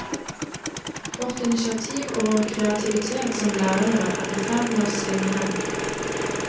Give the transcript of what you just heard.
Vårt initiativ og vår kreativitet som lærere er i ferd med å svinne hen.